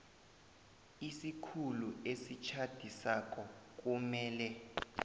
isikhulu esitjhadisako kumele